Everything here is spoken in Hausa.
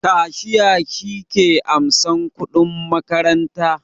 Kashiya shi ke ansan kuɗin makaranta